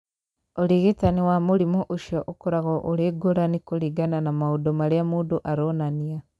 Ũrigitani wa mũrimũ ũcio ũkoragwo ũrĩ ngũrani kũringana na maũndũ marĩa mũndũ aronania.